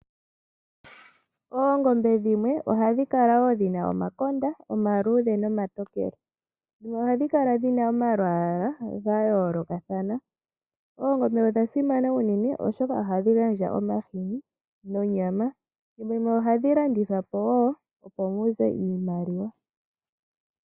Oongombe dhimwe ohadhi kala wo dhina omakonda omaluudhe omatokele, dhimwe ohadhi kala dhina omalwaala ga yoolokathana. Oongombe odha simana uunene oshoka ohadhi gandja omahini nonyama, thimbo limwe ohadhi landithwa po wo, opo muze iimaliwa.